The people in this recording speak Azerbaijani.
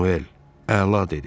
Manuel əla dedi.